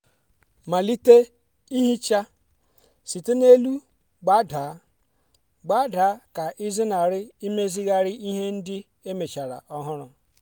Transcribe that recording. malite ihicha site n'elu gbadaa gbadaa ka ịzenarị imezigharị ihe ndị emechara ọhụrụ.